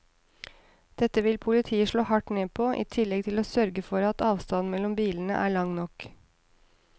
Dette vil politiet slå hardt ned på, i tillegg til å sørge for at avstanden mellom bilene er lang nok.